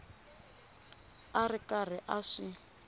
a ri karhi a swi